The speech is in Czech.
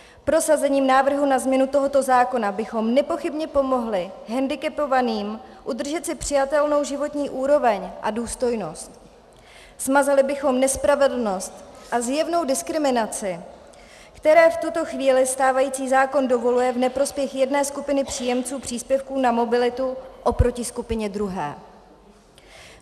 Prosazením návrhu na změnu tohoto zákona bychom nepochybně pomohli hendikepovaným udržet si přijatelnou životní úroveň a důstojnost, smazali bychom nespravedlnost a zjevnou diskriminaci, kterou v tuto chvíli stávající zákon dovoluje v neprospěch jedné skupiny příjemců příspěvku na mobilitu oproti skupině druhé.